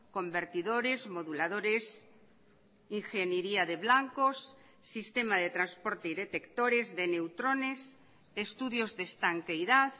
convertidores moduladores ingeniería de blancos sistema de transporte y detectores de neutrones estudios de estanqueidad